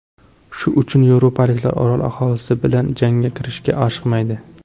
Shu uchun yevropaliklar orol aholisi bilan jangga kirishga oshiqmaydi.